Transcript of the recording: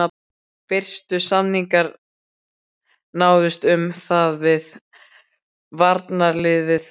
Fyrstu samningar náðust um það við varnarliðið á árinu